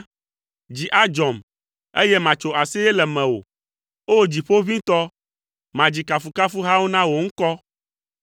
Dzi adzɔm, eye matso aseye le mewò; O Dziƒoʋĩtɔ, madzi kafukafuhawo na wò ŋkɔ.